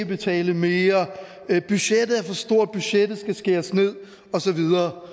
betale mere budgettet er for stort budgettet skal skæres ned og så videre